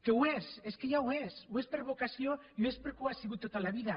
que ho és és que ja ho és ho és per vocació i ho és perquè ho ha sigut tota la vida